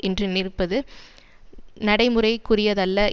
என்று நினைப்பது நடைமுறைக்குரியதல்ல